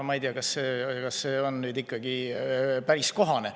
Ma ei tea, kas see on ikkagi päris kohane.